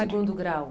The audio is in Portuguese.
segundo grau.